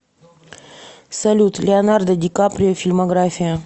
салют леонардо ди каприо фильмография